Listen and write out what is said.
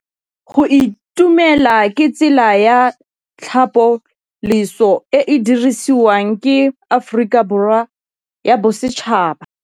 Go itumela ke tsela ya tlhapolisô e e dirisitsweng ke Aforika Borwa ya Bosetšhaba.